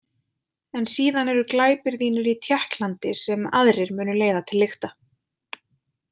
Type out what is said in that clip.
En síðan eru glæpir þínir í Tékklandi sem aðrir munu leiða til lykta.